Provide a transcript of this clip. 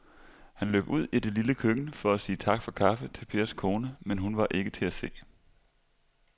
Han løb ud i det lille køkken for at sige tak for kaffe til Pers kone, men hun var ikke til at se.